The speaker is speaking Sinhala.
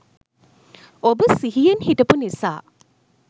ඔබ සිහියෙන් හිටපු නිසා